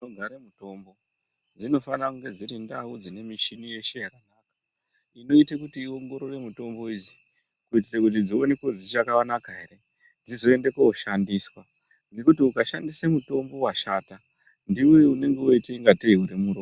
Ndau dzinogare mutombo, dzinofane kunga dziri ndau dzine mishini yeshe, dzinoite kuti iongorore mitombo idzi, kuitire kuti dzionekwe kuti dzichakanaka ere, dzizoende kooshandiswa, ngekuti ukashandise mutombo washata ,ndiwe unenge woite ungatei unemuro...